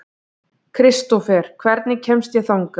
Kristófer, hvernig kemst ég þangað?